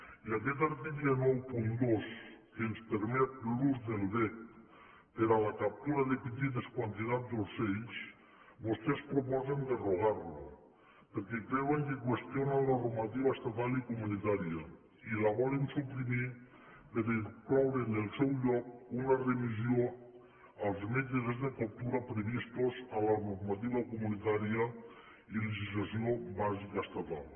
i aquest article noranta dos que ens permet l’ús del vesc per a la captura de petites quantitats d’ocells vostès proposen derogar lo perquè creuen que qüestiona la normativa estatal i comunitària i la volen suprimir per incloure en el seu lloc una remissió als mètodes de captura previstos a la normativa comunitària i a la legislació bàsica estatal